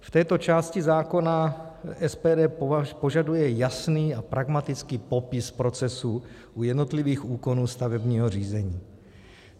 V této části zákona SPD požaduje jasný a pragmatický popis procesů u jednotlivých úkonů stavebního řízení.